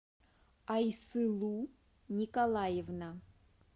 айсылу николаевна